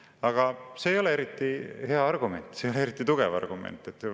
Aga see ei ole eriti hea argument, see ei ole eriti tugev argument.